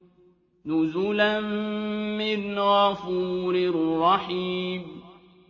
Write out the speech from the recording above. نُزُلًا مِّنْ غَفُورٍ رَّحِيمٍ